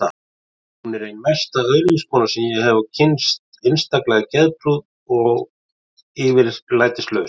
Hún er ein mesta öðlingskona sem ég hef kynnst, einstaklega geðprúð og yfirlætislaus.